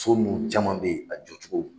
So nunnu caman be yen, a jɔcogo